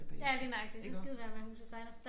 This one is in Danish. Ja lige nøjagtig så skide være med at huset sejler